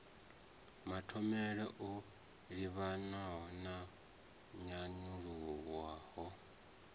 mathomele o livhanywa na nyanyulaho